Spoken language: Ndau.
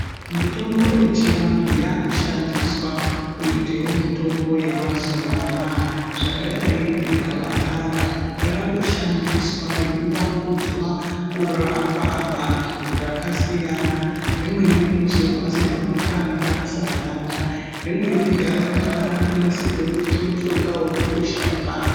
Mitombo yechivantu yaakushandiswa kuitewo mutombo yemazuva anaa. Zvakadai ngegavakava, raakushandiswa reivandudzwa kurapa vantu zvakasiyana. Rimweni rinozorwa semafuta anonakisa ganda. Rimweni gavakava raakunasirwe kuita mushonga wekukwesha mukanwa.